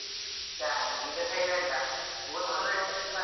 ತಂಗಿ ಈಗ silent ಓದುದು